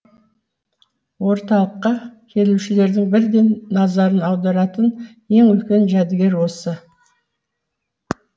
орталыққа келушіердің бірден назарын аударатын ең үлкен жәдігер осы